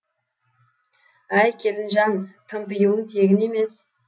әй келінжан тымпиуың тегін емес